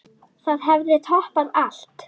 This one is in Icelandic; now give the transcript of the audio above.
Það hefði toppað allt.